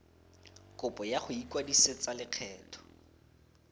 kopo ya go ikwadisetsa lekgetho